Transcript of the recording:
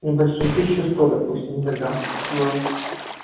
небольшой тысячу сто допустим да да ну